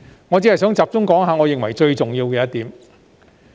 我只想集中談談我認為最重要的一點。